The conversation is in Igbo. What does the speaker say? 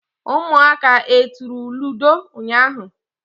ụmụaka e turu ludo ụnyahụ?